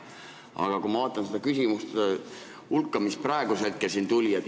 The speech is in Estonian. Aga ma vaatan seda küsimuste hulka, mis praegu siin oli.